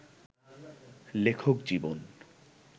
লেখক জীবন